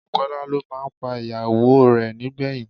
Bùkọ́lá ló máa pa ìyàwó rẹ̀ nígbẹ̀yìn